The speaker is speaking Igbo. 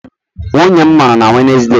Nwunye m mụrụ na Wednesday.